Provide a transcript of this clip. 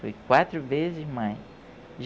Fui quatro vezes mãe.